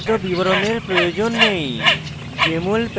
তাদের বিস্তারিত বিবরণের প্রয়োজন they